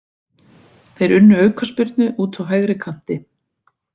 Þeir unnu aukaspyrnu úti á hægri kanti.